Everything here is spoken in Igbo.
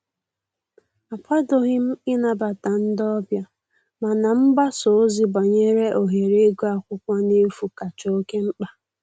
Akwadoghị m ịnabata ndị ọbịa, mana mgbasa ozi banyere ohere ịgụ akwụkwọ n'efu kacha oke mkpa